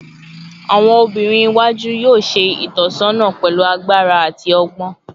Awọn obinrin iwaju yoo ṣe itọsọna pẹlu agbara ati ọgbọn